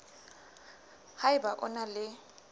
ha eba o na le